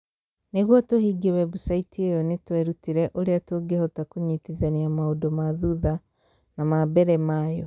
Nĩguo tũhingie webusaiti ĩyo nĩ twerutire ũrĩa tũngĩhota kũnyitithania maũndũ ma thutha na ma mbere ma yo